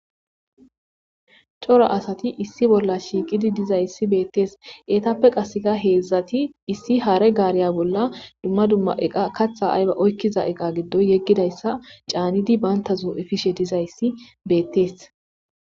Coro asati issi bolla shiiqidi diza ssi beettees eetappe qasseka heedzdzati issi haare gaariya bolla dumma dumma eqa katha ayba oykkiza eqa giddoy yeggidayssa caanidi bayntazo7efishe dizayssi beettees.